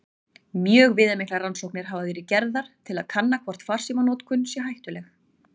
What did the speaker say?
Mjög viðamiklar rannsóknir hafa verið gerðar til að kanna hvort farsímanotkun sé hættuleg.